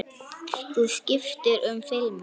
Þú skiptir um filmu!